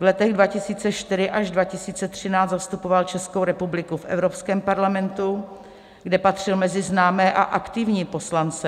V letech 2004 až 2013 zastupoval Českou republiku v Evropském parlamentu, kde patřil mezi známé a aktivní poslance.